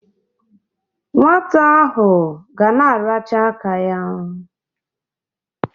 Nwata ahụ ga na-aracha aka ya.